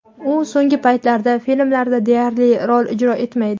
U so‘nggi paytlarda filmlarda deyarli rol ijro etmaydi.